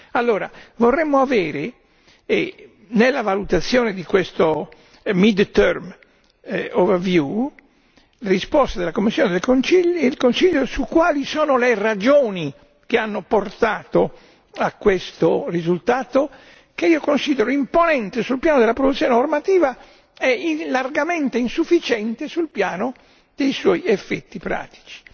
Allora, vorremmo avere nella valutazione di questo mid term review risposte dalla Commissione e dal Consiglio su quali sono le ragioni che hanno portato a questo risultato, che io considero imponente sul piano della produzione normativa e largamente insufficiente sul piano dei suoi effetti pratici,